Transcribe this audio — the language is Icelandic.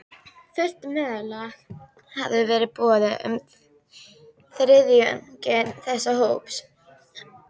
Fullt meðlag hafði verið boðið með þriðjungi þess hóps.